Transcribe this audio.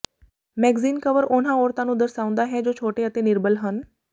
magazine cover ਉਹਨਾਂ ਔਰਤਾਂ ਨੂੰ ਦਰਸਾਉਂਦਾ ਹੈ ਜੋ ਛੋਟੇ ਅਤੇ ਨਿਰਬਲ ਹਨ